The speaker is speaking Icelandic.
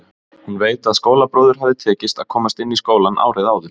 Hún veit að skólabróður hafði tekist að komast inn í skólann árið áður.